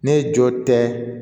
Ne jɔ tɛ